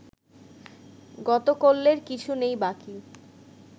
গতকল্যের কিছু নেই বাকি